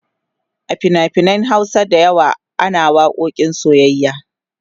a finafinan Hausa da yawa ana waƙoƙin soyyayya